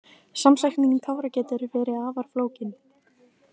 Samsetning tára getur verið afar flókin.